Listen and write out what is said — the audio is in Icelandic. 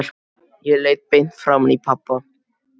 Ég leit beint framan í pabba.